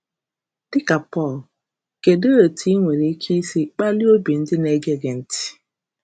Dị ka Pọl, kedụ etu ị nwere ike isi kpalie obi ndị na-ege gị ntị?